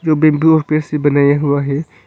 से बनाया हुआ है।